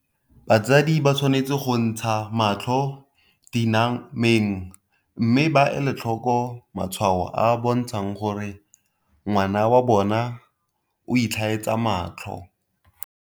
Batsadi ba tshwanetse go ntsha matlho dina meng mme ba ele tlhoko matshwao a a bontshang gore ngwana wa bona o itlhaetsa matlho.